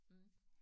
Mhm